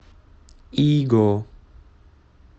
иго